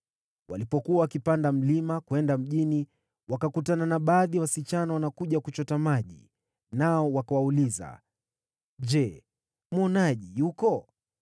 Walipokuwa wakipanda mlima kwenda mjini, wakakutana na baadhi ya wasichana wanakuja kuchota maji, nao wakawauliza, “Je, mwonaji yuko?”